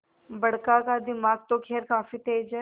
बड़का का दिमाग तो खैर काफी तेज है